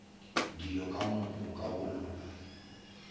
dilo ka moka go lona